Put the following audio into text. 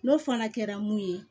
N'o fana kɛra mun ye